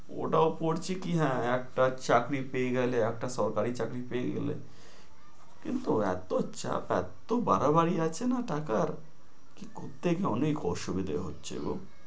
ওটাও পড়ছি কি হ্যাঁ একটা চাকরি পেয়ে গেলে, একটা সরকারি চাকরি পেয়ে গেলে। কিন্তু এতো চাপ, এত্তো বাড়াবাড়ি আছে না টাকার, কি কথ~থেকে অনেক অসুবিধে হচ্ছে গো।